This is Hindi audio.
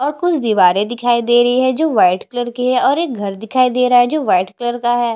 और कुछ दीवारे दिखाई दे रही है जो वाइट कलर का है और कुछ घर दिखाई दे रहा है जो वाइट कलर के है।